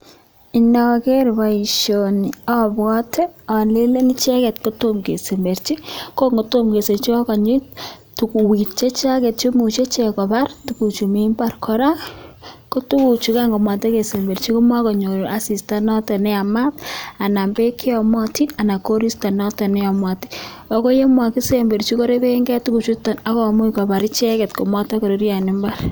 Inogeer boisioni abwote alelen icheket kotomo kesemberchi, ko ngotomo kesemberchi ko akanyi tokiet icheket che imuchei kobar chu mi imbaar, kora, ko tuguchukan komatekesemberchi konyor asista noto neyamat anan beek cheyomatin anan koristo noto neyamat, ako yon makisemberchi korepekei tuguchuto ako much kobar icheket komatokururyo en imbaar.